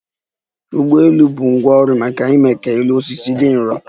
ụgbọelu bụ ngwá ọrụ maka ime ka elu osisi dị nrọ